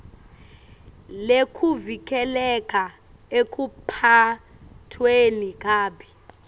lekuvikeleka ekuphatfweni kabi